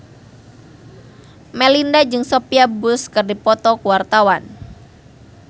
Melinda jeung Sophia Bush keur dipoto ku wartawan